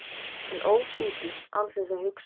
Hann óð útí án þess að hugsa.